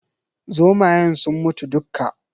Zomayen sun mutu dukka.